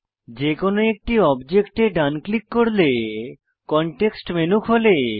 যেকোনো একটি অবজেক্টে ডান ক্লিক করলে কনটেক্সট মেনু খোলে